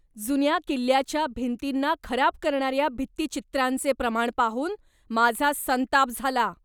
जुन्या किल्ल्याच्या भिंतींना खराब करणाऱ्या भित्तिचित्रांचे प्रमाण पाहून माझा संताप झाला.